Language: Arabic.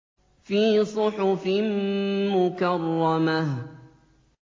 فِي صُحُفٍ مُّكَرَّمَةٍ